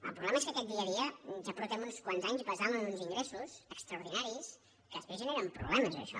el problema és que aquest dia a dia ja fa uns quants anys que el basem en uns in·gressos extraordinaris que després generen problemes això